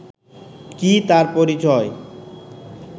কী তার পরিচয়